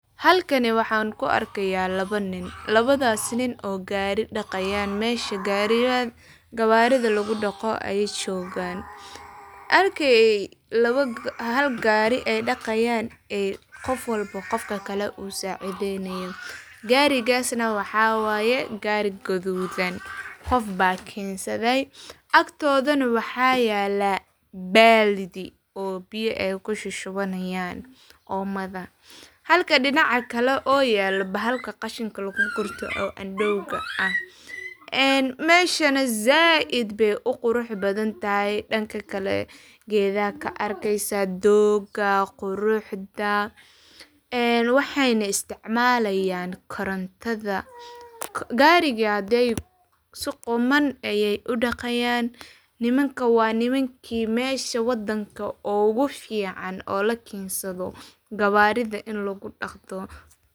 Halkani waxan ku arkaya laba nin oo gari daqayan. Meshi gari, mesha gawaridha lagu daqo ayey jogan ,halka qof kasta qof kale u sacideynayo ,garigasna waxa waye gari gadudan qofba kensade, agtodana waxa yala baaldi oo biyo ay kushushubanayan omada. Halka dinaca kale o yalo bahalka qashinka lagu gurto oo andowga ah meshana zaid bey u qurux badan tahay danka kale gedaa kaarkesa dogaa ,quruxda waxeyna isticmalayan korontada. Gariga haday su quman ayey u dhaqayan nimanka waa nimanki mesha wadanka ugu fican oo la kensadho gawaridha.